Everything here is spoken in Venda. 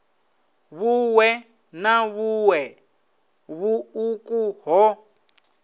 vhuṋwe na vhuṋwe vhuṱuku ho